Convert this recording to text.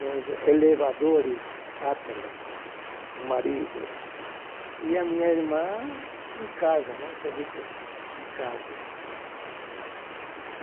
nos elevadores Atlas, o marido, e a minha irmã em casa, né, serviço de casa.